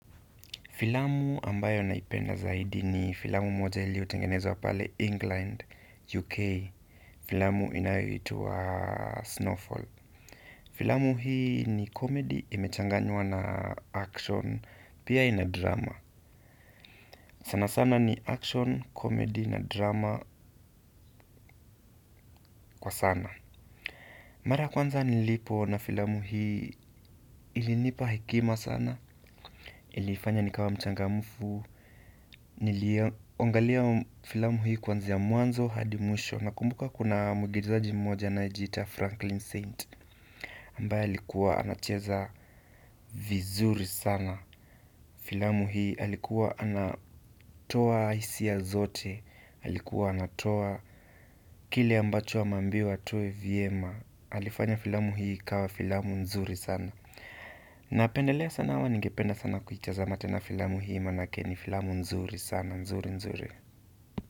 Filamu ambayo naipenda zaidi ni filamu moja iliyo tengenezwa pale England, UK. Filamu inayo itwa Snowfall. Filamu hii ni komedi imechanganywa na action, pia ina drama. Sana sana ni action, komedi na drama kwa sana. Mara ya kwanza nilipo ona filamu hii ilinipa hekima sana. Ilifanya nikawa mchangamfu. Niliangalia filamu hii kwanzia mwanzo hadi mwisho. Nakumbuka kuna muigizaji mmoja anayejiita Franklin Saint. Ambaye alikuwa anacheza, vizuri sana filamu hii. Alikuwa anatoa hisia zote. Alikuwa anatoa kile ambacho ameambiwa atoe vyema. Alifanya filamu hii ikawa filamu nzuri sana. Napendelea sana ama ningependa sana kuitazama tena filamu hii manake ni filamu nzuri sana nzuri nzuri.